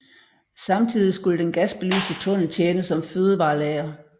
Samtidig skulle den gasbelyste tunnel tjene som førevarelager